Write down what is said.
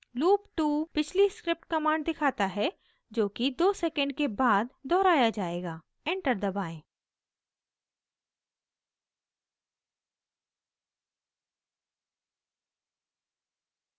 loop 2 पिछली script commands दिखाता है जो कि 2 second के बाद दोहराया जायेगा enter दबाएं